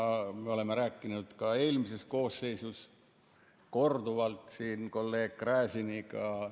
Me oleme sellest rääkinud ka eelmises koosseisus korduvalt kolleeg Gräziniga.